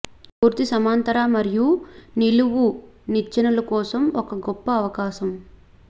పూర్తి సమాంతర మరియు నిలువు నిచ్చెనలు కోసం ఒక గొప్ప అవకాశం